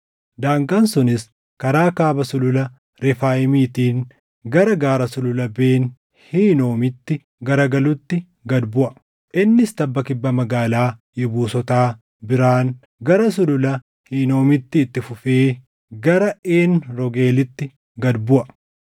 Daangaan sunis karaa kaaba Sulula Refaayimiitiin gara gaara Sulula Ben Hinoomitti garagalutti gad buʼa. Innis tabba kibba magaalaa Yebuusotaa biraan gara Sulula Hinoomitti itti fufee gara Een Roogeelitti gad buʼa.